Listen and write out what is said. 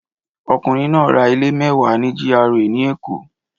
Ọkùnrin náà ra ilé mẹ́wàá ní GRA ní Èkó